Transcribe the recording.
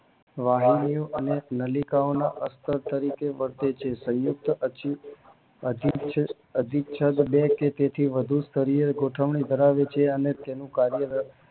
વાહિનીઓ અને નલિકાઓના અસ્ત્ર તરીકે વર્તે છે સંયુક્ત અધિચ્છ અધિચ્છદ બે કે તેથી વધુ શરીરે ગોઠવણી ધરાવે છે અને તેનું કાર્ય